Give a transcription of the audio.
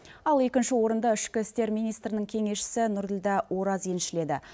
ал екінші орынды ішкі істер министрінің кеңесшісі нұрділдә ораз еншіледі